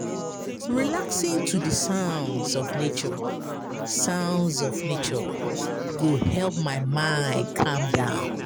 Relaxing to di sounds of nature sounds of nature go help my mind calm down.